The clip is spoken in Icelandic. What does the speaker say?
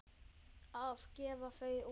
Að gefa þau út!